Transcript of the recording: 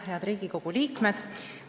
Head Riigikogu liikmed!